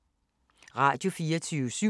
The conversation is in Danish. Radio24syv